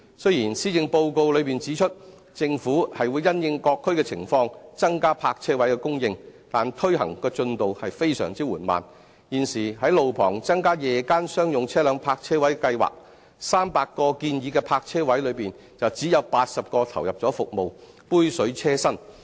雖然施政報告內指出，政府會因應各區的情況增加泊車位的供應，但推行進度非常緩慢，就現時在路旁增加夜間商用車輛泊車位的計劃 ，300 個建議的泊車位中只有80個投入服務，杯水車薪。